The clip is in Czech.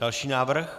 Další návrh?